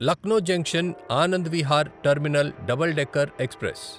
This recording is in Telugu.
Lucknow junction Anand Vihar terminal double decker express